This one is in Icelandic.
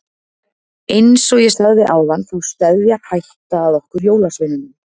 Eins og ég sagði áðan þá steðjar hætta að okkur jólasveinunum.